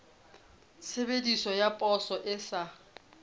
tshebeletso ya poso e sa